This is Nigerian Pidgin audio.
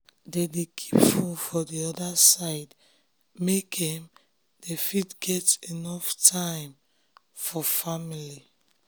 dem dey keep fone for d orda side make um dem fit um get enuff time for family um